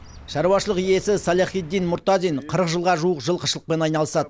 шаруашылық иесі саляхитдин мұртазин қырық жылға жуық жылқышылықпен айналысады